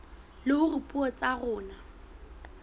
le hore dipuo tsa rona